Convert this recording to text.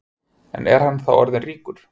En er hann þá orðin ríkur?